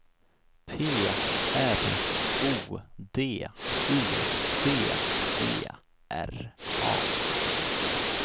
P R O D U C E R A